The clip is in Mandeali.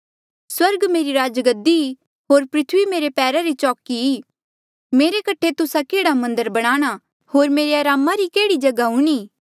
स्वर्ग मेरी राजगद्दी ई होर धरती मेरे पैरा री चौकी ई मेरे कठे तुस्सा केह्ड़ा मन्दर बणाणा होर मेरे अरामा री केह्ड़ी जगहा हूणीं